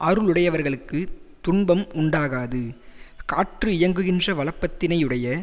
அருளுடையவர்களுக்குத் துன்பம் உண்டாகாது காற்று இயங்குகின்ற வளப்பத்தினையுடைய